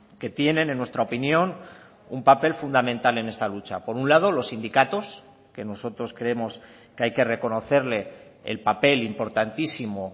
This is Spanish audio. que tienen en nuestra opinión un papel fundamental en esta lucha por un lado los sindicatos que nosotros creemos que hay que reconocerle el papel importantísimo